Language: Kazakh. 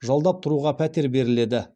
жалдап тұруға пәтер беріледі